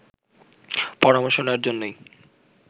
পরামর্শ নেয়ার জন্যই